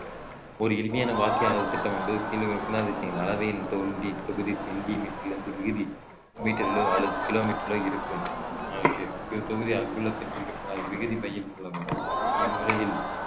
ஒரு எளிமையான வாக்கிய அளவுத்திட்டம் என்பது அளவையின் தோன்றி தொகுதி சென்டி மீட்டரிலிருந்து விகுதி மீட்டரிலோ அல்லது கிலோமீட்டரிலோ இருக்கும் அஹ் இது தொகுதி அங்குலத்தில் குறிக்கப்பட்டிருந்தால் விகுதி மைல் இம்முறையில்